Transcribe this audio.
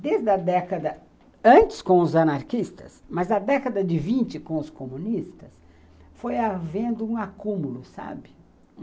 desde a década antes com os anarquistas, mas a década de vinte com os comunistas, foi havendo um acúmulo, sabe?